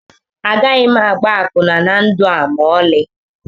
Agaghị m agba akwụna na ndụ a ma ọlị